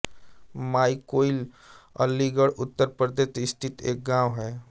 माई कोइल अलीगढ़ उत्तर प्रदेश स्थित एक गाँव है